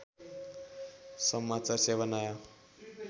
समाचार सेवा नयाँ